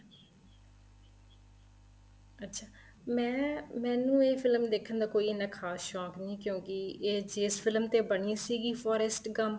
ਅੱਛਾ ਮੈਂ ਮੈਨੂੰ ਇਹ ਫ਼ਿਲਮ ਦੇਖਣ ਦਾ ਕੋਈ ਇਹਨਾ ਖ਼ਾਸ ਸ਼ੋਂਕ ਨਹੀਂ ਕਿਉਂਕਿ ਇਹ ਜਿਸ ਫ਼ਿਲਮ ਤੇ ਬਣੀ ਸੀਗੀ forest gum